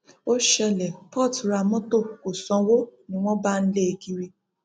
ó ṣẹlẹ port ra mọtò kó sanwó ni wọn bá ń lé e kiri